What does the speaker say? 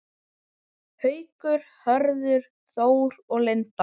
Haukur, Hörður Þór og Linda.